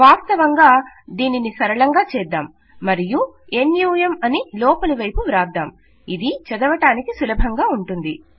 వాస్తవంగా దీనిని సరళంగా చేద్దాం మరియు నమ్ అని లోపలివైపు వ్రాద్దాం ఇది చదవడానికి సులభంగా ఉంటుంది